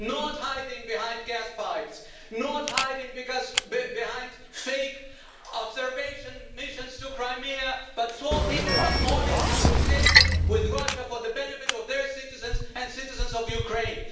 Not hiding behind gas pipes, not hiding behind fake observation missions to Crimea, but talking an honest conversation with Russia for the benefit of their citizens and citizens of Ukraine.